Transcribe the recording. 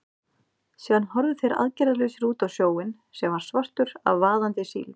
Síðan horfðu þeir aðgerðalausir út á sjóinn, sem var svartur af vaðandi síld.